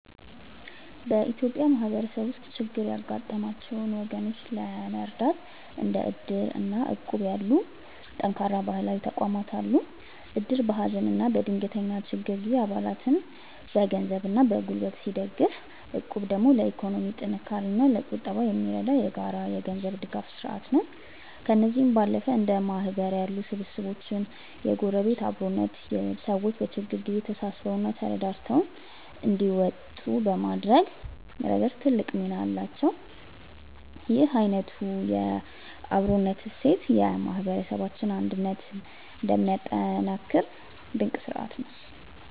በኢትዮጵያ ማህበረሰብ ውስጥ ችግር ያጋጠማቸውን ወገኖች ለመርዳት እንደ እድር እና እቁብ ያሉ ጠንካራ ባህላዊ ተቋማት አሉ። እድር በሀዘንና በድንገተኛ ችግር ጊዜ አባላትን በገንዘብና በጉልበት ሲደግፍ፣ እቁብ ደግሞ ለኢኮኖሚ ጥንካሬና ለቁጠባ የሚረዳ የጋራ የገንዘብ ድጋፍ ስርአት ነው። ከእነዚህም ባለፈ እንደ ማህበር ያሉ ስብስቦችና የጎረቤት አብሮነት፣ ሰዎች በችግር ጊዜ ተሳስበውና ተረዳድተው እንዲወጡ በማድረግ ረገድ ትልቅ ሚና አላቸው። ይህ አይነቱ የአብሮነት እሴት የማህበረሰባችንን አንድነት የሚያጠናክር ድንቅ ስርአት ነው።